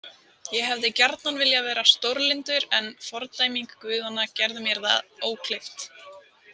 Ég hefði gjarnan viljað vera stórlyndur en fordæming guðanna gerði mér það ókleift.